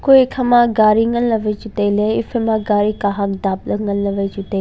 kue ekhama gari nganley wai chu tailey haifaima gari kahag dapla nganla chuwai tailey.